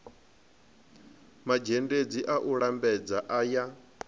mazhendedzi a u lambedza aya